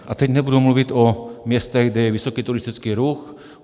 A teď nebudu mluvit o městech, kde je vysoký turistický ruch.